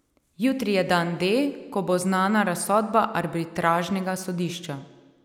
Jutri je dan D, ko bo znana razsodba arbitražnega sodišča.